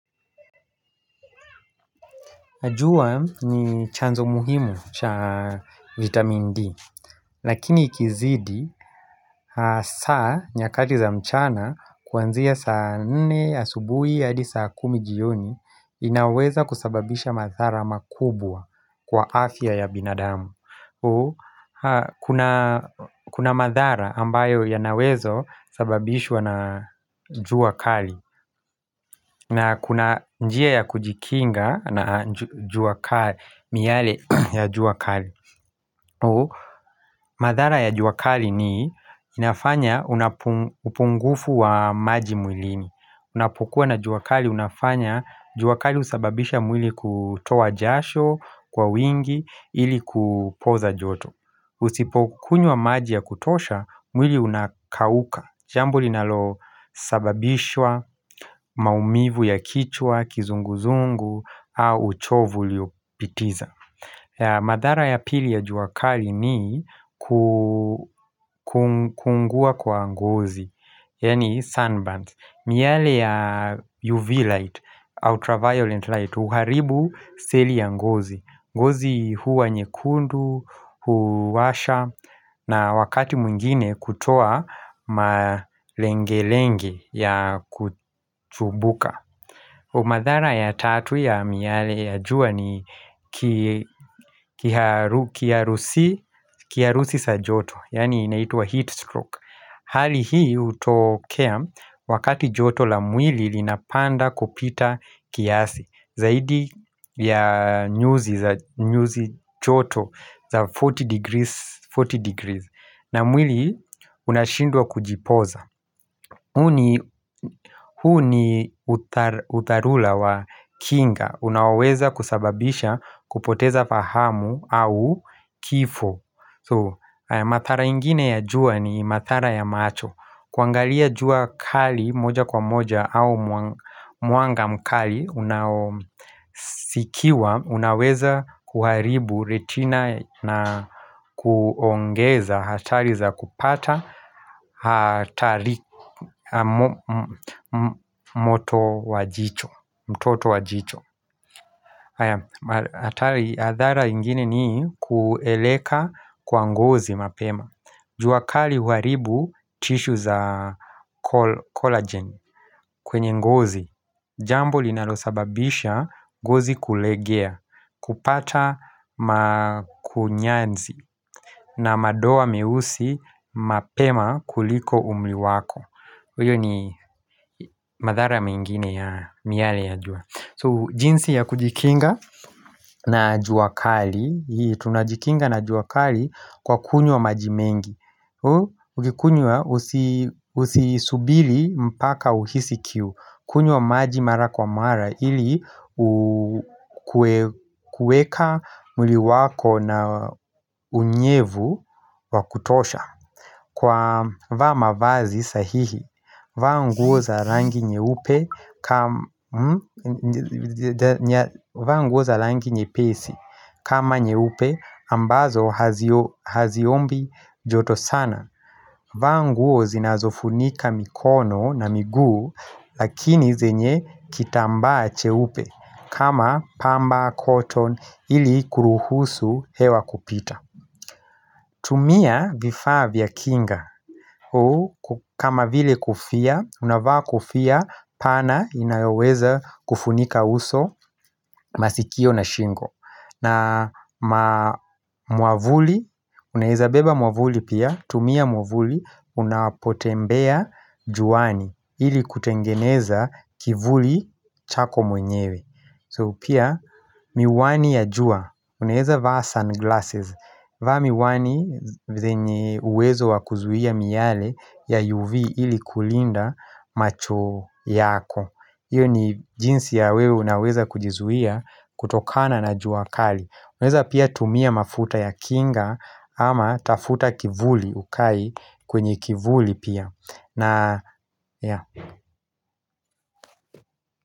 Najua ni chanzo muhimu cha vitamin D, lakini ikizidi, saa nyakati za mchana kuanzia saa nne a subuhi hadi saa kumi jioni, inaweza kusababisha madhara makubwa kwa afya ya binadamu. Kuna madhara ambayo yanawezo sababishwa na juakali na kuna njia ya kujikinga na juakali, miale ya juakali madhara ya juakali ni inafanya upungufu wa maji mwilini Unapokuwa na juakali, unafanya juakali husababisha mwili kutoa jasho kwa wingi ili kupoza joto Usipo kunywa maji ya kutosha, mwili unakauka Jambo linalo sababishwa maumivu ya kichwa, kizunguzungu au uchovu uliopitiza madhara ya pili ya juakali ni ku kukuungua kwa ngozi, yani sunburns miale ya UV light, ultraviolet light, uharibu seli ya ngozi ngozi huwa nyekundu, huwasha na wakati mwingine kutoa malenge lenge ya kuchubuka Umadhara ya tatu ya miyale ya jua ni ki kiharusi sa joto, yaani inaitwa heat stroke Hali hii hutokea, wakati joto la mwili linapanda kupita kiasi, zaidi ya nyuzi joto za 40 degrees, na mwili unashindwa kujipoza. Hu ni utharula wa kinga Unaoweza kusababisha kupoteza fahamu au kifo Mathara ingine ya jua ni mathara ya macho kuangalia jua kali moja kwa moja au mwanga mkali unao Unaweza kuharibu retina na kuongeza hatari za kupata, hatari moto wajicho, mtoto wajicho hatari adhara ingine ni kueleka kwa ngozi mapema juakali huharibu tissue za collagen kwenye ngozi Jambo linalosababisha ngozi kulegea, kupata makunyanzi na madoa meusi mapema kuliko umriwako Uyo ni madhara mengine ya miale ya jua So jinsi ya kujikinga na juakali Tunajikinga na juakali kwa kunywa majimengi Ukikunywa usisubili mpaka uhisi kiu kunywa maji mara kwa mara ili ukuweka mwili wako na unyevu wakutosha. Kwa vaa mavazi sahihi, vaa nguo za rangi nyeupe kam nguo za rangi nyepesi kama nyeupe ambazo haziombi joto sana. Vaa nguo zinazofunika mikono na miguu lakini zenye kitambaa che upe. Kama pamba, cotton, ili kuruhusu hewa kupita tumia vifaa vya kinga kama vile kofia, unavaa kofia pana inayoweza kufunika uso masikio na shingo na ma mwavuli, unaweza beba mwavuli pia tumia mwavuli, unapotembea juani ili kutengeneza kivuli chako mwenyewe So pia miwani ya jua, unaeza vaa sunglasses vaa miwani zenye uwezo wakuzuia miyale ya UV ili kulinda macho yako Iyo ni jinsi ya wewe unaweza kujizuia kutokana na juakali Unaeza pia tumia mafuta ya kinga ama tafuta kivuli ukae kwenye kivuli pia na ya.